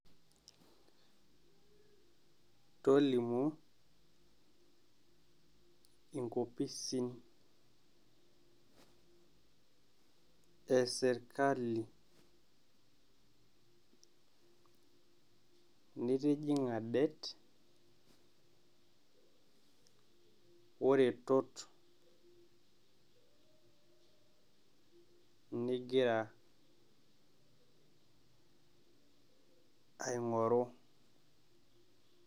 Tolimu enkopisin esirkali nitijing'a det oretot nigira aing'oru.